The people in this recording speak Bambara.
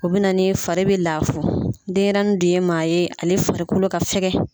O be na ni fari be lafo. Denyɛrɛnin dun ye maa ye, ale farikolo ka fɛkɛn.